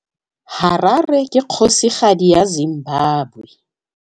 Harare ke kgosigadi ya Zimbabwe.